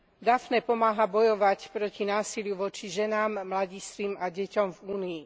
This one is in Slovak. Daphné pomáha bojovať proti násiliu voči ženám, mladistvým a deťom v Únii.